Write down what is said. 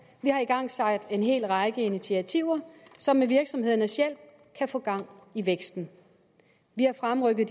vi har igangsat en hel række initiativer som med virksomhedernes hjælp kan få gang i væksten vi har fremrykket